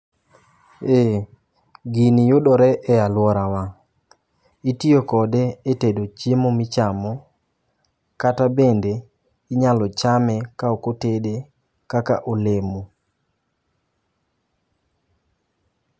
Ee gini yudore e aluorawa, itiyo kode e tedo chiemo michamo kata bende inyalo chame ka ok otede kaka olemo